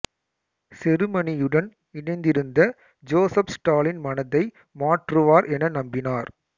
செருமனியுடன் இணைந்திருந்த Joseph Stalin மனதை மாற்றுவார் என நம்பினார்